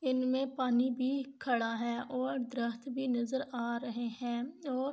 انمے پانی بھی خدا ہے اور دارقط